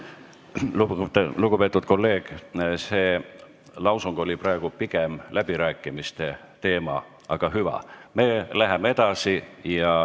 Lugupeetud kolleeg, see oli pigem läbirääkimiste teema, aga hüva, me läheme edasi.